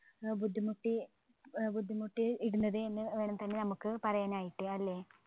ഏർ ബുദ്ധിമുട്ടി ഏർ ബുദ്ധിമുട്ടി ഇരുന്നത് എന്ന് വേണം തന്നെ നമ്മുക്ക് പറയാനായിട്ട് അല്ലെ